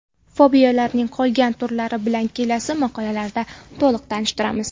Fobiyalarning qolgan turlari bilan kelasi maqolalarda to‘liq tanishtiramiz.